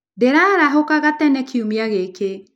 Ndĩraarahũkaga tene kiumia gĩkĩ.